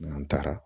N'an taara